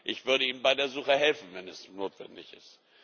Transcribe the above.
Ich würde ihm bei der Suche helfen, wenn es notwendig ist.